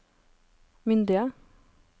myndige